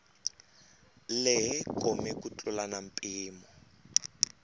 lehe kome ku tlula mpimo